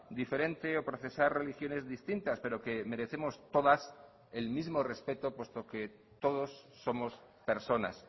diferente o procesar religiones distintas pero que merecemos todas el mismo respeto puesto que todos somos personas